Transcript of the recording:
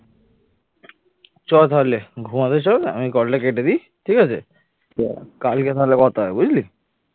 চল তাহলে ঘুমাতে চল আমি call টা কেটে দি ঠিক আছে কালকে তাহলে কথা হবে বুঝলি?